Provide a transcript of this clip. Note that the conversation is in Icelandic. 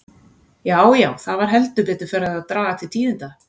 Já, já, það var heldur betur farið að draga til tíðinda!